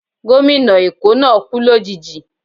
Gómìnà Eko náà kú lòjijì